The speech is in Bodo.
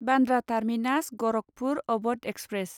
Bandra terminus Gorakhpur Awadh express